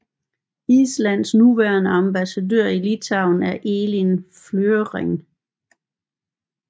Islands nuværende ambassadør i Litauen er Elín Flygenring